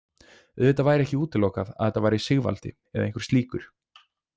Auðvitað væri ekki útilokað að þetta væri Sigvaldi eða einhver slíkur.